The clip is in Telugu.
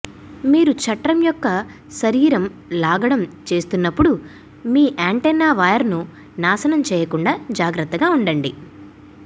మీరు చట్రం యొక్క శరీరం లాగడం చేస్తున్నప్పుడు మీ యాంటెన్నా వైర్ను నాశనం చేయకుండా జాగ్రత్తగా ఉండండి